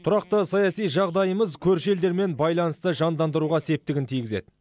тұрақты саяси жағдайымыз көрші елдермен байланысты жандандыруға септігін тигізеді